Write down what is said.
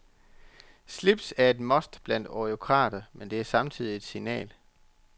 Slips er et must blandt eurokrater, men det er samtidig et signal.